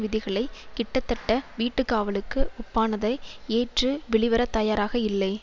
விதிகளை கிட்டத்தட்ட வீட்டுக்காவலுக்கு ஒப்பானதை ஏற்று வெளிவரத்தயாராக இல்லை